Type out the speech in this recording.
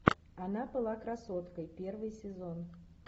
она была красоткой первый сезон